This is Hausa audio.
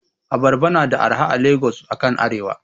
Abarba na da arha a Lagos akan arewa.